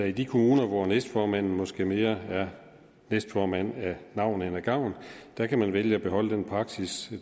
i de kommuner hvor næstformanden måske mere er næstformand af navn end af gavn kan kan vælge at beholde den praksis